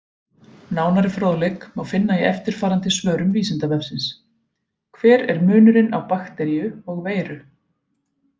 Nánari fróðleik má finna í eftirfarandi svörum Vísindavefsins: Hver er munurinn á bakteríu og veiru?